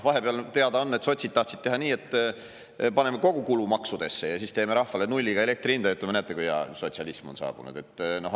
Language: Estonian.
Teada on, et sotsid tahtsid vahepeal teha nii, et paneme kogukulu maksudesse ja siis teeme rahvale elektri hinnaks nulli, ütleme: "Näete, kui hea, sotsialism on saabunud!